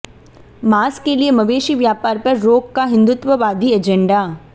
मांस के लिए मवेशी व्यापार पर रोक का हिंदुत्ववादी एजेंडा